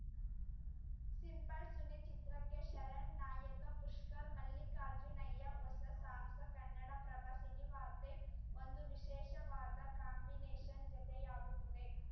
simple Suni ಚಿತ್ರಕ್ಕೆ ಶರಣ್‌ ನಾಯಕ ಪುಷ್ಕರ್ ಮಲ್ಲಿಕಾರ್ಜುನಯ್ಯ ಹೊಸ ಸಾಹಸ ಕನ್ನಡಪ್ರಭ ಸಿನಿವಾರ್ತೆ ಒಂದು ವಿಶೇಷವಾದ ಕಾಂಬಿನೇಷನ್‌ ಜತೆಯಾಗುತ್ತಿದೆ